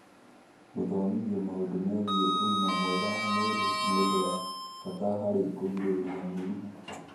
Gũthomithio maũndũ megiĩ ũgima mwega wa mwĩrĩ nĩ ũndũ wa bata harĩ kũgirĩrĩria mĩrimũ